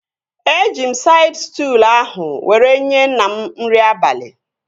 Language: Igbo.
Eji m saịd stụlụ ahụ were nyee nna m nri abalị